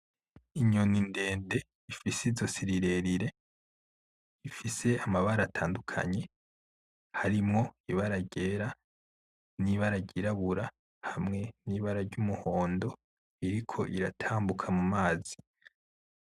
Inyoni ndende ifise izosi rirerire, ifise amabara atandukanye, harimwo ibara ryera, n'ibara ryirabura hamwe n'ibara ry'umuhondo, iriko iratambuka mu mazi.